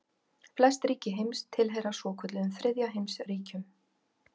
Flest ríki heims tilheyra svokölluðum þriðja heims ríkjum.